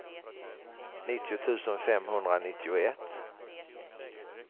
nittio tusen femhundranittioett